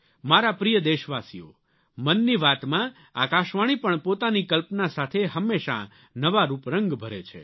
મારા પ્રિય દેશવાસીઓ મનની વાત માં આકાશવાણી પણ પોતાની કલ્પના સાથે હંમેશાં નવા રૂપરંગ ભરે છે